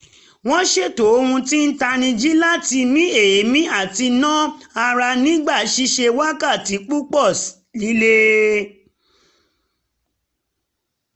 wọ́n ṣètò ohun tí ń tanijí láti mí èémí àti na um ara nígbà ṣiṣẹ́ wákàtí púpọ̀ lílé